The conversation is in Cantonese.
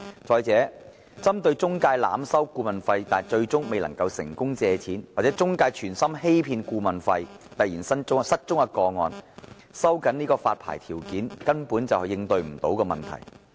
再者，對於中介濫收顧問費但最終申請人未能成功借貸，或中介存心欺騙顧問費而突然失蹤的個案，收緊發牌條件根本無法應對問題。